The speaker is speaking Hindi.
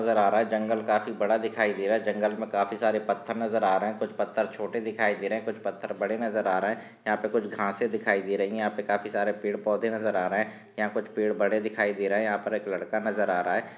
नजर आ रहा जंगल काफी बड़ा दिखाई दे रहा है। जंगल मे काफी सारे पत्थर नजर आ रहे है। कुछ पत्थर छोटे दिखाई दे रहे है। कुछ पत्थर बड़े नजर आ रहे है। यहा पे कुछ घासें दिखाई दे रही है। यहा पे काफी सारे पड़े पौधे नजर आ रहे है। यहा कुछ पेड़ बड़े दिखाई दे रहे है। यहा पर एक लड़का नजर आ रहा है।